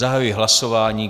Zahajuji hlasování.